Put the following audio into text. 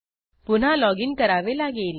पुन्हा लॉजिन करावे लागेल